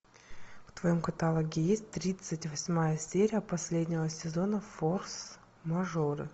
в твоем каталоге есть тридцать восьмая серия последнего сезона форс мажоры